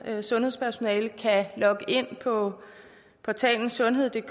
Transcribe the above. sundhedspersonale kan logge ind på portalen sundheddk